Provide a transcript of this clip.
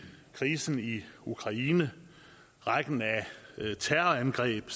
krisen i ukraine rækken af terrorangreb